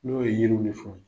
N'o ye yeliw ni fɛnw ye.